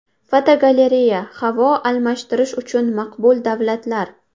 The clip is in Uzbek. Fotogalereya: Havo almashtirish uchun maqbul davlatlar.